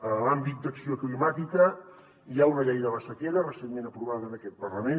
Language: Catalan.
en l’àmbit d’acció climàtica hi ha una llei de la sequera recentment aprovada en aquest parlament